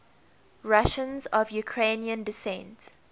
russians of ukrainian descent